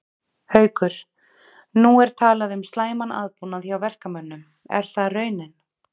Haukur: Nú er talað um slæman aðbúnað hjá verkamönnum, er það raunin?